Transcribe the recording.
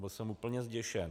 Byl jsem úplně zděšen.